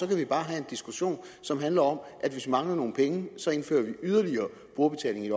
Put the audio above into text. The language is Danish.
kan have en diskussion som handler om at hvis vi mangler nogle penge så indfører vi yderligere brugerbetaling i